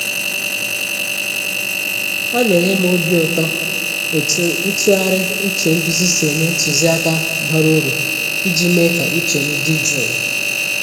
Ọ na enye m obi ụtọ etu ntụgharị uche nduzi si enye ntụziaka bara uru iji mee ka uche m dị jụụ.